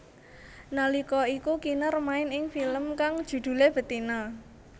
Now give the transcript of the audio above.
Nalika iku Kinar main ing film kang judhulé Betina